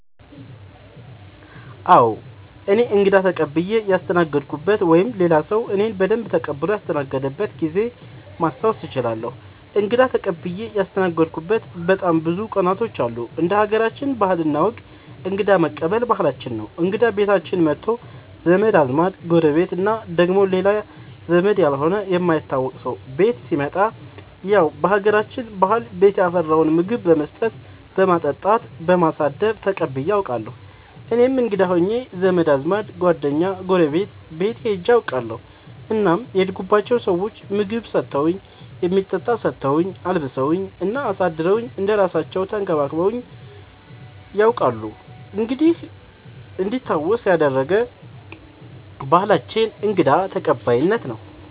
አዎ እኔ እንግዳ ተቀብየ ያስተናገድኩበት ወይም ሌላ ሰዉ እኔን በደንብ ተቀብሎ ያስተናገደበት ጊዜ ማስታወስ እችላለሁ። እንግዳ ተቀብዬ ያስተናገድሁበት በጣም ብዙ ቀናቶች አሉ እንደ ሀገራችን ባህል እና ወግ እንግዳ መቀበል ባህላችን ነው እንግዳ ቤታችን መቶ ዘመድ አዝማድ ጎረቤት እና ደግሞ ሌላ ዘመድ ያልሆነ የማይታወቅ ሰው ቤት ሲመጣ ያው በሀገራችን ባህል ቤት ያፈራውን ምግብ በመስጠት በማጠጣት በማሳደር ተቀብዬ አውቃለሁ። እኔም እንግዳ ሆኜ ዘመድ አዝማድ ጓደኛ ጎረቤት ቤት ሄጄ አውቃለሁ እናም የሄድኩባቸው ሰዎች ምግብ ሰተውኝ የሚጠጣ ሰተውኝ አልብሰውኝ እና አሳድረውኝ እንደ እራሳለው ተንከባክበውኝ ነያውቃሉ እንዲህ እንዲታወስ ያደረገ ባህላችንን እንግዳ ተቀባይነት ነው።